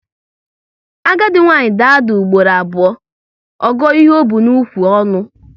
Agadi nwaanyị daa ada ugboro abụọ, ọ gụọ ihe o bu n'ukwu ọnụ